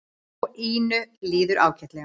Og Ínu líður ágætlega.